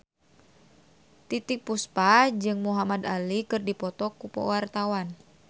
Titiek Puspa jeung Muhamad Ali keur dipoto ku wartawan